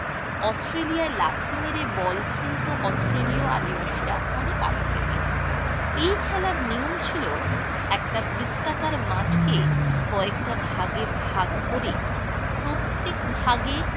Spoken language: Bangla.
অস্ট্রেলিয়ায় লাথি মেরে বল খেলত অস্ট্রেলীয় আদিবাসীরা অনেক আগে থেকেই । এই খেলার নিয়ম ছিল একটা বৃত্তাকার মাঠকে কয়েকটা ভাগে ভাগ করে প্রত্যেক ভাগে